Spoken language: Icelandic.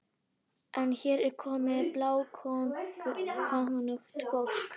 En hér er komið bláókunnugt fólk.